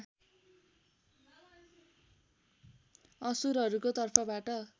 असुरहरूको तर्फबाट